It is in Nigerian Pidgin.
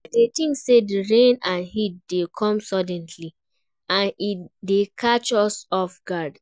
I dey think say di rain and heat dey come suddenly, and e dey catch us off guard.